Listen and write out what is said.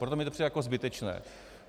Proto mi to přijde jako zbytečné.